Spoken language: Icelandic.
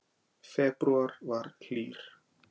Febrúar var hlýr